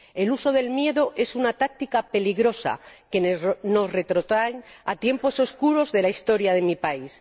El uso del miedo es una táctica peligrosa que nos retrotrae a tiempos oscuros de la historia de mi país.